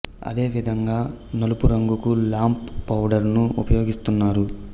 అదే విధంగా నలుపు రంగుకు లాంప్ పౌడర్ ను ఉపయోగిస్తున్నారు